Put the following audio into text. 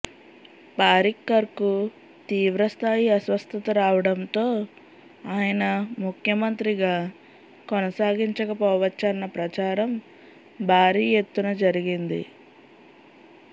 పారిక్కర్కు తీవ్రస్థాయి అస్వస్థత రావడంతో ఆయన ముఖ్యమంత్రిగా కొనసాగించకపోవచ్చన్న ప్రచారం భారీ ఎత్తున జరిగింది